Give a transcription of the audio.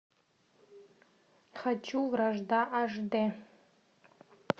хочу вражда аш дэ